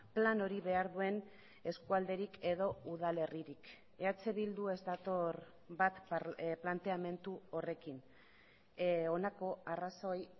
plan hori behar duen eskualderik edo udalerririk eh bildu ez dator bat planteamendu horrekin honako arrazoi